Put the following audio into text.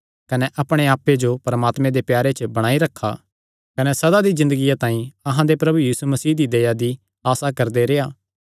कने अपणे आप्पे जो परमात्मे दे प्यारे च बणाई रखा कने सदा दी ज़िन्दगिया तांई अहां दे प्रभु यीशु मसीह दी दया दी आसा करदे रेह्आ